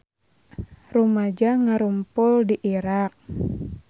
Rumaja ngarumpul di Irak